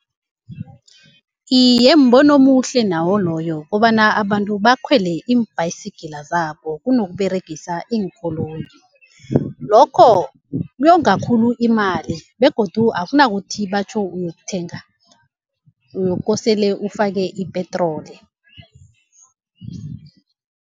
Iye, mbono omuhle nawo loyo kobana abantu bakhwele iimbhayisigila zabo kunokuberegisa iinkoloyi, lokho kuyonga khulu imali begodu akunakuthi batjho uyokuthenga uyokosele ufake ipetroli.